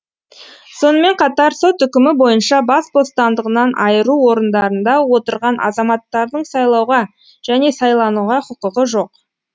сонымен қатар сот үкімі бойынша бас бостандығынан айыру орындарында отырған азаматтардың сайлауға және сайлануға кұкығы жок